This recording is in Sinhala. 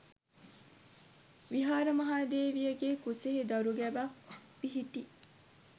විහාරමහාදේවියගේ කුසෙහි දරු ගැබක් පිහිටි